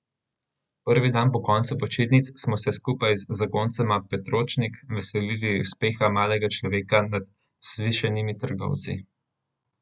Prvi dan po koncu počitnic smo se skupaj z zakoncema Petročnik veselili uspeha malega človeka nad vzvišenimi trgovci.